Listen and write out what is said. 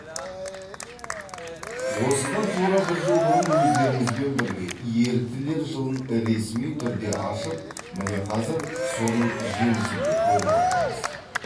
осыдан тура бір жыл бұрын өздеріңізбен бірге еріктілер жылын ресми түрде ашып міне қазір соның жемісін де көріп отырмыз